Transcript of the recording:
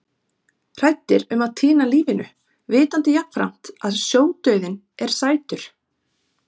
Hræddir um að týna lífinu, vitandi jafnframt að sjódauðinn er sætur.